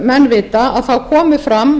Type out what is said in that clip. menn vita komu fram